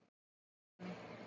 Sigtúni